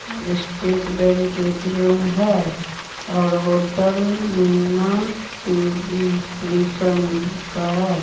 State Bank A T M है और hotel Meena क्रि-- कृष्ण का है।